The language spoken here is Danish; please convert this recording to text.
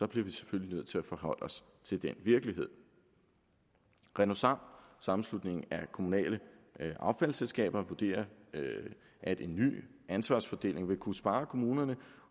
bliver vi selvfølgelig nødt til at forholde os til den virkelighed renosam sammenslutningen af kommunale affaldsselskaber vurderer at en ny ansvarsfordeling vil kunne spare kommunerne